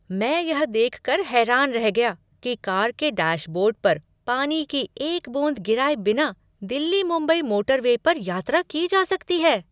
मैं यह देख कर हैरान रह गया कि कार के डैशबोर्ड पर पानी की एक बूंद गिराए बिना दिल्ली मुंबई मोटरवे पर यात्रा की जा सकती है!